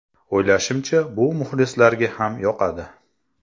O‘ylashimcha, bu muxlislarga ham yoqadi.